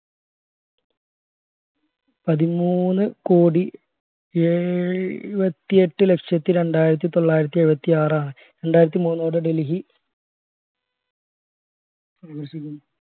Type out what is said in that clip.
പതിമൂന്നു കോടി ഏഴുവതി എട്ട് ലക്ഷത്തി രണ്ടായിരത്തി തൊള്ളായിരത്തി ഏഴുവതി ആർ ആൺ രണ്ടായിരത്തി മൂന്ന് മുതൽ ജന സംഖ്യ